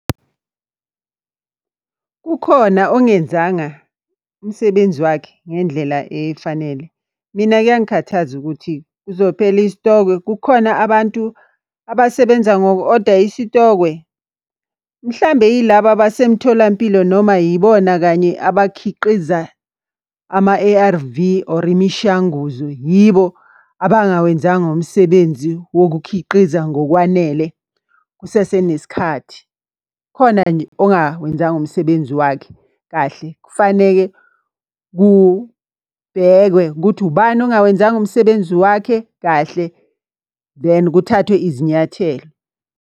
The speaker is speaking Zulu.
Kukhona ongenzanga umsebenzi wakhe ngendlela efanele. Mina kuyangikhathaza ukuthi kuzophela isitokwe kukhona abantu abasebenza ngoku-oda isitokwe. Mhlambe yilaba basemtholampilo noma yibona kanye abakhiqiza ama-A_R_V or imishanguzo, yibo abangawenzanga umsebenzi wokukhiqiza ngokwanele kusasenesikhathi. Khona nje ongawenzanga umsebenzi wakhe kahle. Kufaneke kubhekwe ukuthi ubani ongawenzanga umsebenzi wakhe kahle then kuthathwe izinyathelo.